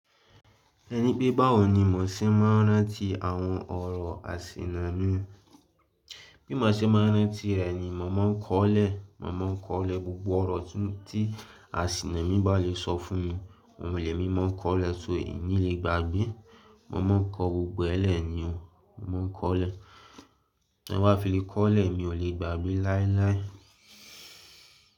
Ẹni pé báwo ni mò ń ṣe máa rántí àwọn ọ̀rọ̀ àsìnà mi? Bí mò ṣe máa rántí rẹ̀ ni, mò máa ń kọ́lẹ̀, mò máa ń kọ́lẹ̀ gbogbo ọ̀rọ̀ tí àsìnà mi bá lè sọ fún mi. Wọn ò le mi máa ń kọ́lẹ̀ só èyí ni lè gba gbín. Mò máa ń kọ gbogbo ẹ̀ lẹ̀ ni o. Mò ń kọ́lẹ̀. Ẹ wá fi lè kọ́lẹ̀, mi ò lè gba gbín láíláí.